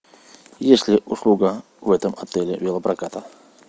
есть ли услуга в этом отеле велопроката